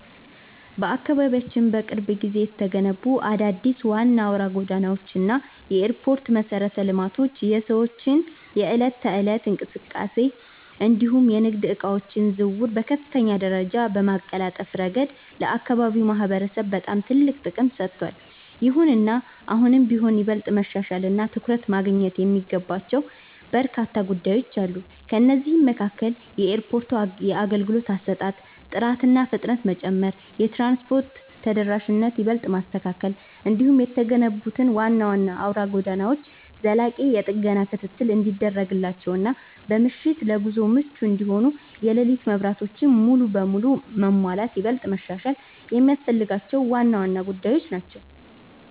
በአካባቢያችን በቅርብ ጊዜ የተገነቡት አዳዲስ ዋና አውራ ጎዳናዎች እና የኤርፖርት መሠረተ ልማቶች የሰዎችን የዕለት ተዕለት እንቅስቃሴ እንዲሁም የንግድ ዕቃዎች ዝውውርን በከፍተኛ ደረጃ በማቀላጠፍ ረገድ ለአካባቢው ማህበረሰብ በጣም ትልቅ ጥቅም ሰጥተዋል። ይሁንና አሁንም ቢሆን ይበልጥ መሻሻልና ትኩረት ማግኘት የሚገባቸው በርካታ ጉዳዮች አሉ። ከእነዚህም መካከል የኤርፖርቱ የአገልግሎት አሰጣጥ ጥራትና ፍጥነት መጨመር፣ የትራንስፖርት ተደራሽነትን ይበልጥ ማስተካከል፣ እንዲሁም የተገነቡት ዋና ዋና አውራ ጎዳናዎች ዘላቂ የጥገና ክትትል እንዲደረግላቸውና በምሽት ለጉዞ ምቹ እንዲሆኑ የሌሊት መብራቶች ሙሉ በሙሉ መሟላት ይበልጥ መሻሻል የሚያስፈልጋቸው ዋና ዋና ጉዳዮች ናቸው።